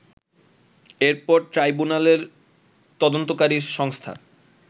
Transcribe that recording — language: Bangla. এরপর ট্রাইবুনালের তদন্তকারী সংস্থা